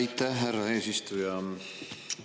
Aitäh, härra eesistuja!